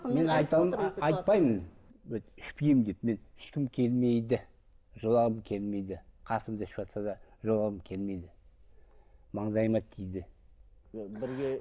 мен айтпайымн ішпеймін деп мен ішкім келмейді жолағым келмейді қасымда ішіватса да жолағым келмейді маңдайыма тиді